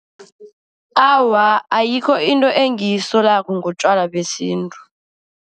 Awa, ayikho into engiyisolako ngotjwala besintu.